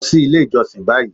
Lọ sí ilé ìjọsìn báyìí